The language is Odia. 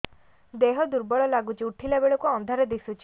ଦେହ ଦୁର୍ବଳ ଲାଗୁଛି ଉଠିଲା ବେଳକୁ ଅନ୍ଧାର ଦିଶୁଚି